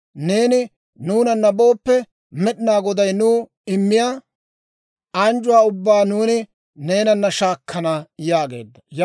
Neeni nuunana booppe, Med'inaa Goday nuw immiyaa anjjuwaa ubbaa nuuni neenana shaakkana» yaageedda.